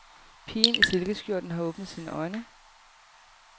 Pigen i silkeskjorten har åbnet sine øjne.